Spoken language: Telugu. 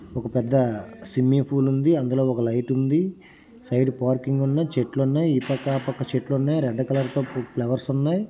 ఒక పెద్ద స్విమ్మింగ్ పూల్ ఉంది. అందులో ఒక లైట్ ఉంది సైడ్ పార్కింగ్ ఉన్నాయి చెట్లు ఉన్నాయి. ఈ పక్క ఆ పక్క చెట్లున్నాయి. రెడ్ కలర్లో ఫ్లవర్స్ ఉన్నాయి.